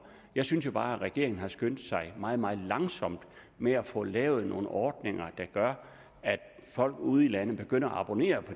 jeg synes bare at regeringen har skyndt sig meget meget langsomt med at få lavet nogle ordninger der gør at folk ude i landet begynder at abonnere